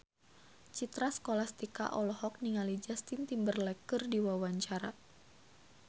Citra Scholastika olohok ningali Justin Timberlake keur diwawancara